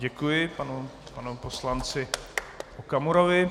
Děkuji panu poslanci Okamurovi.